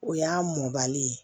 O y'a mɔnbali ye